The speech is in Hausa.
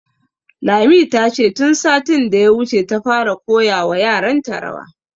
Lami, ta ce tun satin da ya wuce ta fara koya wa yaran ta rawa